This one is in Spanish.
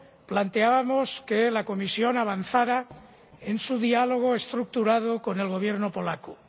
planteábamos que la Comisión avanzara en su diálogo estructurado con el Gobierno polaco.